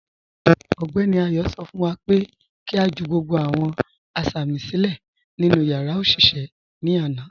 Ọgbẹní Ayọ̀ sọ fún wá pé kí a jù gbogbo awọn asámì silẹ̀ nínu yàrá oṣiṣẹ̀ ní àna.